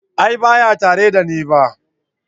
A'a baya tare da ni ba.